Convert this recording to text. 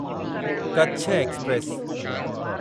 Kutch express